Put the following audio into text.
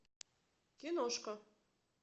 киношка